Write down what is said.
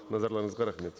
назарларыңызға рахмет